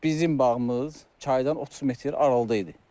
Bizim bağımız çaydan 30 metr aralıda idi.